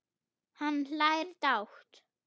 Hann hlær dátt.